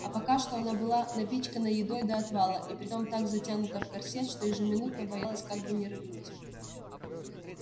а пока что она была напичкана едой до отвала и притом так затянута в корсет что ежеминутно боялась как бы не рыгнуть